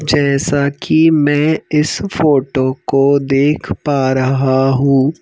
जैसा कि मैं इस फोटो को देख पा रहा हूँ।